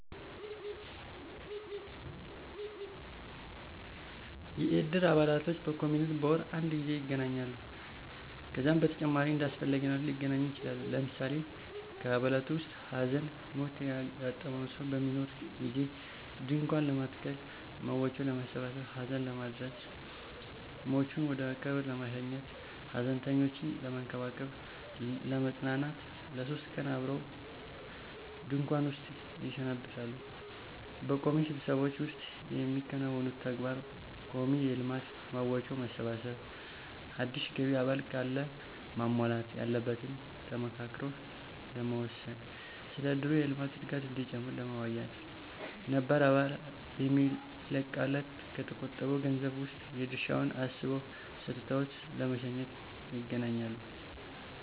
የእድር አባላቶች በቋሚነት በወር አድ ጊዜ ይገናኛሉ። ከዛም በተጨማሪ እንዳስፈላጊነቱ ሊገናኙ ይችላሉ። ለምሳሌ ከአባላቱ ዉስጥ ሀዘን/ሞት ያጋጠመው ሰው በሚኖር ጊዜ ድንኳን ለመትከል፣ መዋጮ ለማሠባሠብ፣ ሀዘን ለመድረስ፣ ሟቹን ወደቀብር ለመሸኘት፣ ሀዘንተኞችን ለመንከባከብ /ለማጽናናት ለሶስት ቀን አብረው ድንኩዋን ዉስጥ ይሰነብታሉ። በቋሚ ስብሰባዎች ዉስጥ የሚያከናውኑት ተግባር :ቋሚ የልማት መዋጮ ማሰባሰብ፣ አዲስ ገቢ አባል ካለ ማሟላት ያለበትን ተመካክረው ለመወሰን፣ ስለ እድሩ የልማት እድገት እዲጨምር ለመወያየት፣ ነባር አባል የሚለቅ ካለ ከተቆጠበዉ ገንዘብ ዉስጥ የድርሻዉን አስበው ሰጥተው ለመሸኘት ___ይገናኛሉ።